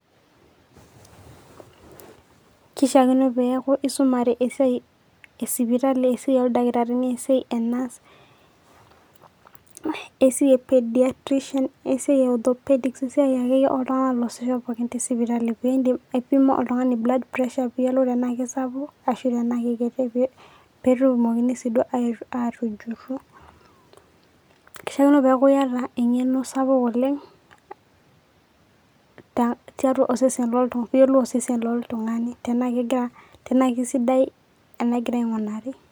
keishiakino pee eaku isumare esiai esipitali esiai oo dakitarini esiai ee nurse esiai ee pediatrician esiai ee othopedic esiai akeyie oo tung'anak oasisho pookin te sipitali pee idim aipimo oltung'ani blood pressure pee iyiolou tenaa keisapuk ashu tenaa keikiti pee etumokini sii duo atujuru, keishiakino pee eaku iyata eng'eno sapuk oleng' pee iyiolou osesen loltung'ani te naa keisidai anaa egira ing'olari